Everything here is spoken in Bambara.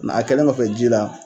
Nka a kɛlen kɔfɛ ji la